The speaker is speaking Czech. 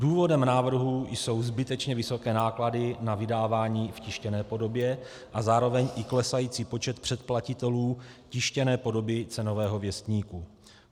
Důvodem návrhu jsou zbytečně vysoké náklady na vydávání v tištěné podobě a zároveň i klesající počet předplatitelů tištěné podoby Cenového věstníku.